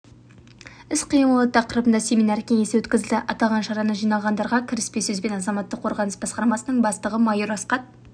іс-қимылы тақырыбында семинар-кеңесі өткізілді аталған шараны жиналғандарға кіріспе сөзбен азаматтық қорғаныс басқармасының бастығы майор асқат